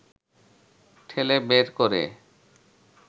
ঠেলে বের করে